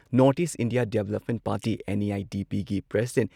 north east India development party NEIDP ꯒꯤ president